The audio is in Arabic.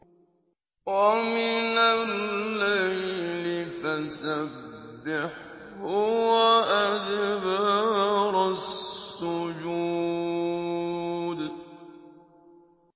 وَمِنَ اللَّيْلِ فَسَبِّحْهُ وَأَدْبَارَ السُّجُودِ